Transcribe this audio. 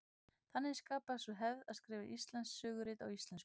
Þannig skapaðist sú hefð að skrifa íslensk sögurit á íslensku.